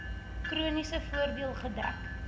chroniese voordeel gedek